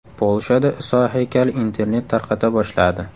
Polshada Iso haykali internet tarqata boshladi.